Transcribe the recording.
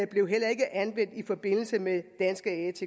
blev heller ikke anvendt i forbindelse med danske atk